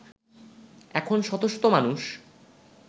এখন শত শত মানুষ